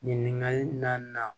Ɲininkali naaninan